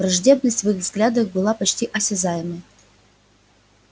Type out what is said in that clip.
враждебность в их взглядах была почти осязаемой